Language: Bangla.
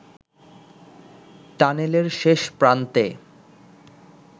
টানেলের শেষ প্রান্তে